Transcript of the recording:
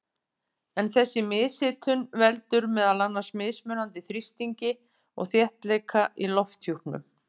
En þessi mishitun veldur meðal annars mismunandi þrýstingi og þéttleika í lofthjúpnum.